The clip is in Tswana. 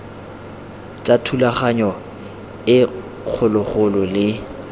tsa thulaganyo e kgologolo le